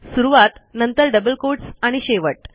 सुरूवात नंतर double quotes आणि शेवट